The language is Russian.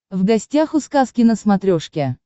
в гостях у сказки на смотрешке